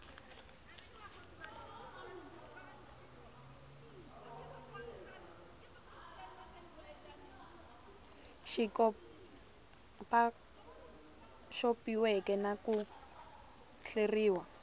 xi xopaxopiweke na ku hleriw